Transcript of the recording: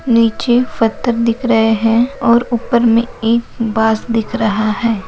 नीचे फथर दिख रहे है और उपर मे एक बास दिख रहा है।